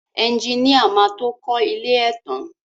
Ẹjiníà má tó kọ ilé ẹ tán.